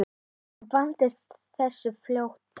En ég vandist þessu fljótt.